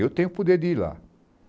Eu tenho o poder de ir lá.